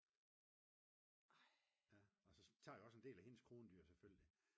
ja og så tager det også en del af hendes krondyr